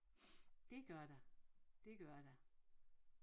Det gør der det gør der